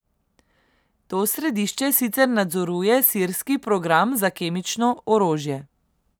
To središče sicer nadzoruje sirski program za kemično orožje.